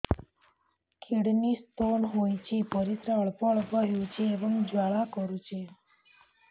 kidney stone ହୋଇଛି ପରିସ୍ରା ଅଳ୍ପ ଅଳ୍ପ ହେଉଛି ଏବଂ ଜ୍ୱାଳା କରୁଛି